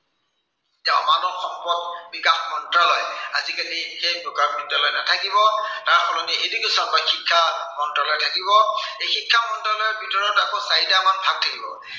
মানৱ সম্পদ বিকাশ মন্ত্ৰালয়। আজিকালি সেই বিকাশ মন্ত্ৰালয় নাথাকিব। তাৰ সলনি education বা শিক্ষা মন্ত্ৰালয় থাকিব। এই শিক্ষা মন্ত্ৰালয়ৰ ভিতৰত আকৌ চাৰিটা আমাৰ ভাগ থাকিব।